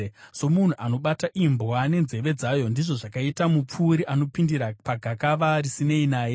Somunhu anobata imbwa nenzeve dzayo, ndizvo zvakaita mupfuuri anopindira pagakava risinei naye.